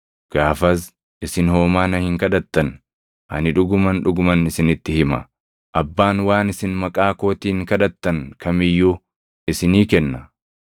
Gaafas isin homaa na hin kadhattan. Ani dhuguman, dhuguman isinitti hima; Abbaan waan isin maqaa kootiin kadhattan kam iyyuu isinii kenna.